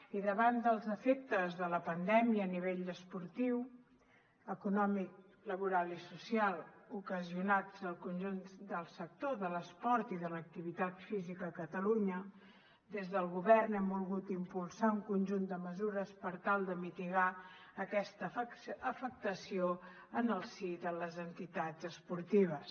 i davant dels efectes de la pandèmia a nivell esportiu econòmic laboral i social ocasionats al conjunt del sector de l’esport i de l’activitat física a catalunya des del govern hem volgut impulsar un conjunt de mesures per tal de mitigar aquesta afectació en el si de les entitats esportives